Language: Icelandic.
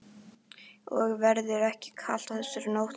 Og verður ekki kalt þessa nótt.